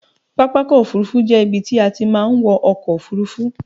Pápakọ̀ òfurufú jẹ́ ibi tí a ti máa ń wọ ọkọ̀ òfurufú.